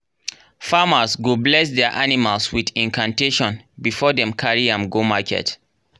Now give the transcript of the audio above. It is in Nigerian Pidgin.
farmers go bless their animals with incantation before dem carry am go market.